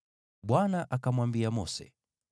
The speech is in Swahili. Bwana akamwambia Mose,